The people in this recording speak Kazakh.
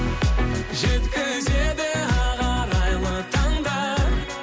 жеткізеді ақ арайлы таңдар